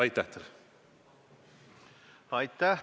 Aitäh!